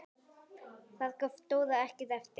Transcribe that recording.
Þar gaf Dóra ekkert eftir.